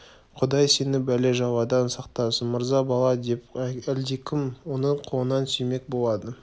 құдай сені бәле-жаладан сақтасын мырза бала деп әлдекім оның қолынан сүймек болады